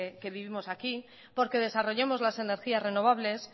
que vivimos aquí porque desarrollemos las energías renovables